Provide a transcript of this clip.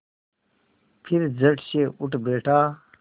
फिर झटसे उठ बैठा